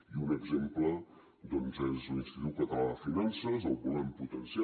i un exemple doncs és l’institut català de finances el volem potenciar